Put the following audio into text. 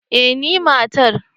eh ni matar